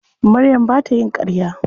Maryam ba ta yin ƙarya.